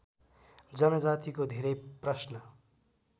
जनजातिको धेरै प्रश्न